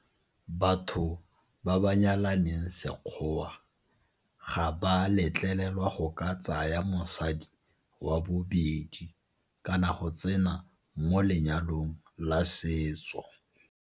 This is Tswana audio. Batho ba ba nyalaneng sekgowa ga ba letlelelwa go ka tsaya mosadi wa bobedi kana go tsena mo lenyalong la setso.